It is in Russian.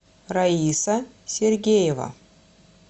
раиса сергеева